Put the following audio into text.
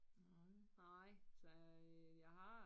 Nej så øh jeg har